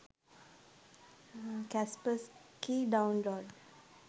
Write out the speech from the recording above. kaspersky download